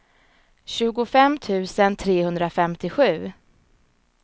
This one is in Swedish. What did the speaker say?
tjugofem tusen trehundrafemtiosju